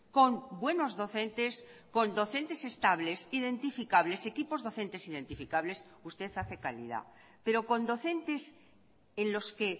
con buenos docentes con docentes estables identificables equipos docentes identificables usted hace calidad pero con docentes en los que